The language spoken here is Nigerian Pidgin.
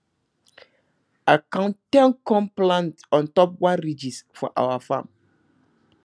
i count ten corn plant ontop one ridges for our farm